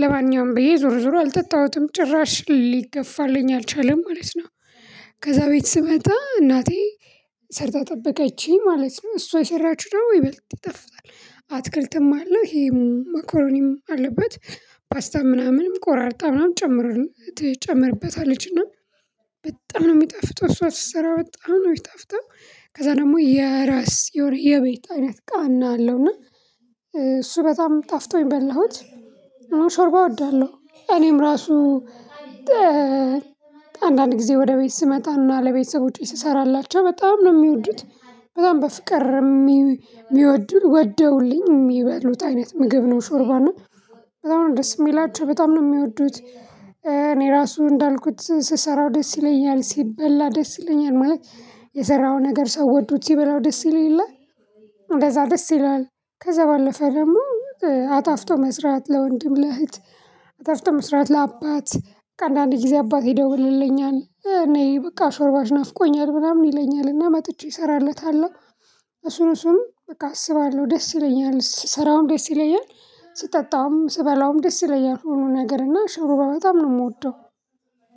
ለማንኛውም ብዬ ዞሮ ዞሮ አልጠጣሁትም ጭራሽ ሊገፋልኝ አልቻለም ማለት ነው። ከዛ ቤት ስመጣ እናቴ ሰርታ ጠበቀችኝ ማለት ነው እሷ የሰራችሁ ደግሞ ይበልጥ ይጣፍጣል አትክልትም አለው ይሄም መኮኖኒም አለበት። ፓስታም ምናምንም ቆራርጣ ነው የምትጨምረን ትጨምርበታለች እና በጣም ነው የሚጠፍጠው እሷ ስትሰራ በጣም ነው የሚጣፍጠው። ከዛ ደግሞ የራስ የሆነ የቤት አይነት ቃና አለው እና እሱ በጣም ጣፍጦኝ በላሁት። እን ሾርባ እወዳለሁ እኔም ራሱ። አንዳንድ ጊዜ ወደ ቤት ስመጣና ለቤተሰቦቼ ስሰራላቸው በጣም ነው የሚወዱት በጣም በፍቅር የሚወዱት ወደውልኝ የሚበሉት አይነት ምግብ ነው። ሾርባ እና በጣም ነው ደስ የሚላቸው በጣም ነው የሚወዱት። እኔ ራሱ እንዳልኩት ስሰራው ደስ ይለኛል ሲበላ ደስ ይለኛል ማለት የሰራህው ነገር ሰው ወዶት ሲበላው ደስ ይል የለ። እንደዛ ደስ ይለኛል ከዛ ባለፈ ደግሞ አጣፍጦ መስራት ለወንድም ለእህት አጣፍጦ መስራት ለአባት ከአንዳንድ ጊዜ አባቴ ይደውልልኛል ነይ በቃ ሾርባሽ ናፍቆኛል ምናምን ይለኛል እና መጥቼ እሰራለታለሁ። እሱን እሱን በቃ አስባለሁ ደስ ይለኛል ስራውን ደስ ይለኛል ስጠጣውም ስበላውም ደስ ይለኛል ሁሉ ነገር እና ሾርባ በጣም ነው የምወደው።